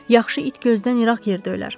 Yaxşı it gözdən iraq yerdə ölər.